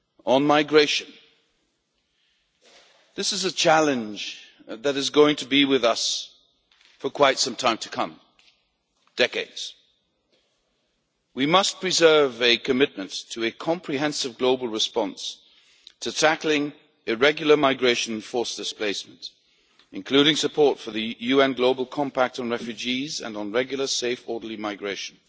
On migration this is a challenge that is going to be with us for quite some time to come for decades. We must preserve a commitment to a comprehensive global response to tackling irregular migration and forced displacement, including support for the UN Global Compact on refugees and on regular, safe, orderly migration,